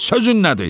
Sözün nədir?"